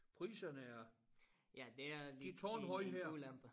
Priserne er de tårnhøje her